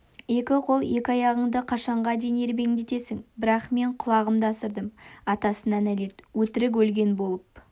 екі қол екі аяғыңды қашанға дейін ербеңдетесің бірақ мен құлығымды асырдым атасына нәлет өтірік өлген болып